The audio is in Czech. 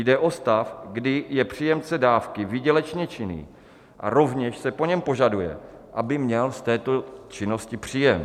Jde o stav, kdy je příjemce dávky výdělečně činný a rovněž se po něm vyžaduje, aby měl z této činnosti příjem.